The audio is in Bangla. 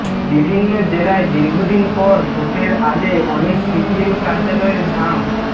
বিভিন্ন জেলায় দীর্ঘদিন পর ভোটের আগে অনেক সিপিএম কার্যালয়ের ঝাঁপ